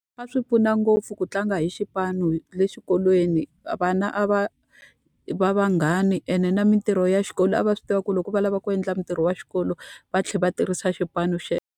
A swi pfuna ngopfu ku tlanga hi xipano le xikolweni, vana a va va vanghani ene na mintirho ya xikolo a va swi tiva ku loko va lava ku endla mintirho ya xikolo, va tlhela va tirhisa xipano .